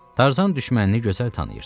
Tarzan düşmənini gözəl tanıyırdı.